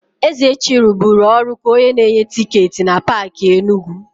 Ezechi rụburu ọrụ ka onye na-enye tịketị na Paakị Enugu.